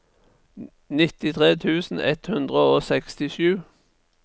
nittitre tusen ett hundre og sekstisju